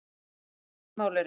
Engin tvö mál eru eins.